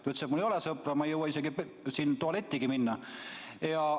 Ta ütles, et tal ei ole sõpru ja ta ei jõua isegi tualetti minna.